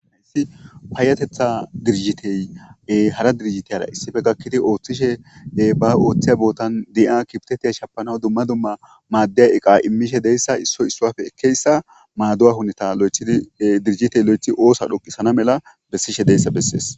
Payatetha dirjitey hara dirijitiyara issife gakkidi ooththishe ba ooththiya bootan di'a kibtetiya shapanaw dumma dumma maaddeya eqa immishe deyssa issoy issoafe ekkeyssa maadu7a hunita dirjitey lo7echi oosa dhoqisana mela bessishe deyssa beses